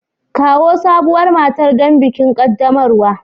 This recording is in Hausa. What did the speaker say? Kawo sabuwar matar don bikin qaddamarwa.